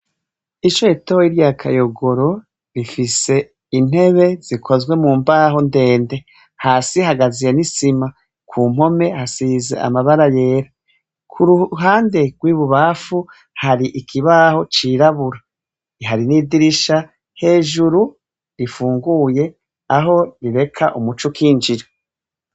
Ishure ritoya rya kayogoro rifis' intebe zikozwe mu mbaho ndende, hasi hakasiye n' isima, kumpome hasiz' amabara yera, kuruhande rw' ibubamfu har' ikibaho cirabura, hari n' idirisha hejuru rifunguye, aho rirek' umuc' ukinjira.